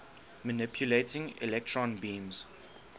manipulating electron beams